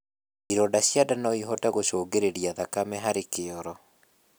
Ironda cia ndaa noĩhote gũcũngĩrĩrĩa thakame harĩ kioro